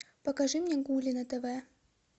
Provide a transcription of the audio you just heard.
покажи мне гули на тв